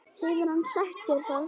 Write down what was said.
Hefur hann sagt þér það?